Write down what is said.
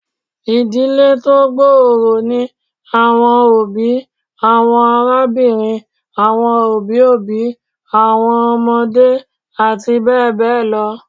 Idile ti o gbooro ni awọn obi, awọn arabinrin, awọn obi obi, awọn ọmọde ati bẹbẹ lọ